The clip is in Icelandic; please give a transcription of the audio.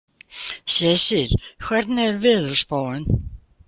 Sesil, hvernig er veðurspáin?